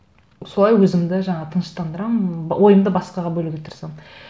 солай өзімді жаңағы тыныштандырамын ойымды басқаға бөлуге тырысамын